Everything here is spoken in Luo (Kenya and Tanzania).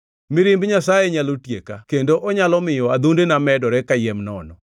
Mirimb Nyasaye nyalo tieka kendo onyalo miyo adhondena medore kayiem nono.